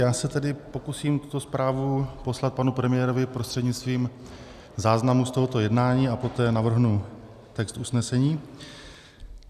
Já se tedy pokusím tuto zprávu poslat panu premiérovi prostřednictvím záznamu z tohoto jednání a poté navrhnu text usnesení.